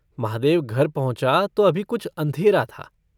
महादेव घर पहुँचा तो अभी कुछ अँधेरा था।